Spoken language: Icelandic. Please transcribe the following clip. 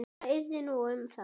Hvað yrði nú um þá?